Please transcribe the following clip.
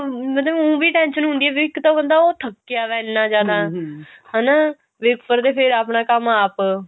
ਮਤਲਬ ਊਂ ਵੀ tension ਹੁੰਦੀ ਆ ਵੀ ਇੱਕ ਤਾਂ ਉਹ ਬੰਦਾ ਥੱਕਿਆ ਵਿਆ ਇੰਨਾ ਜਿਆਦਾ ਹਣਾ ਵੀ ਉੱਪਰ ਤੇ ਫਿਰ ਆਪਣਾ ਕੰਮ ਆਪ